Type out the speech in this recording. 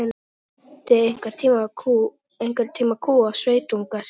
Björn keypti einhvern tíma kú af sveitunga sínum.